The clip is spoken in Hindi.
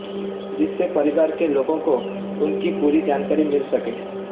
जिससे परिवार के लोगों को उनकी पूरी जानकारी मिल सके